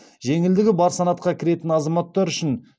жеңілдігі бар санатқа кіретін азаматтар үшін